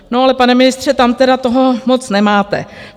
No, ale pane ministře, tam tedy toho moc nemáte.